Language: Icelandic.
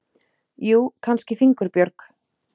Jú, kannski fingurbjörg.